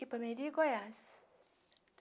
Ipameri, Goiás.